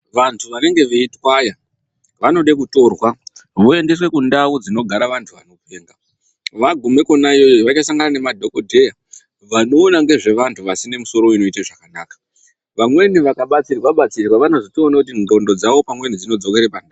Vantu vanenge veitwaya vanoda kutorwa voendeswa kundao yevantu vanopenga vagume iyona iyoyo vachasangana ngemadhokodheya vanoona nezvevantu vane misoro isina kumira zvakanaka vamweni vakabatsirwa batsirwa vanotoona kuti ndxondo dzavo dzinodzoka pakanaka.